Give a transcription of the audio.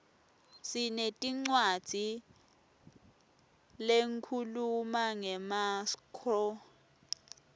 sinetincwadzi lehkhuluma ngemaskco